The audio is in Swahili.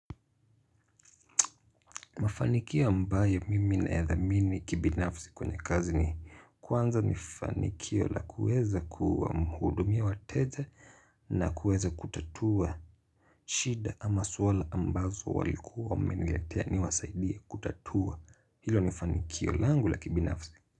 Mafanikio ambayo mimi nadhamini kibinafsi kwenye kazi ni. Kwanza ni fanikio la kuweza kuwa mhudumi wateja na kuweza kutatua. Shida ama swala ambazo walikuwa wameniletea ni wasaidie kutatua. Hilo ni fanikio langu la kibinafsi.